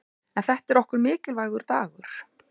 En þetta er okkur mikilvægur dagur.